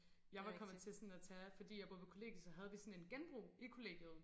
Jeg var kommet til sådan at tage fordi jeg boede på kollegie så havde vi sådan en genbrug i kollegiet